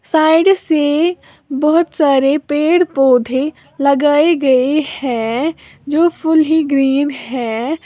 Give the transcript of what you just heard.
Side से बहोत सारे पेड़ पौधे लगाए गए हैं जो फुली ग्रीन है।